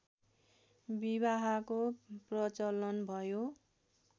विवाहको प्रचलन भयो